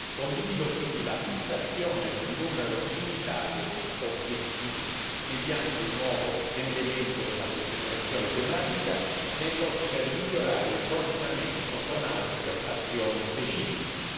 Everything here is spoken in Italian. Condivido quindi la fissazione di un numero limitato di obiettivi mediante il nuovo elemento della concentrazione tematica, nell'ottica di migliorare il coordinamento con altre azioni specifiche.